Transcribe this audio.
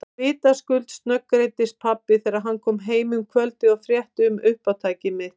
Vitaskuld snöggreiddist pabbi þegar hann kom heim um kvöldið og frétti um uppátæki mitt.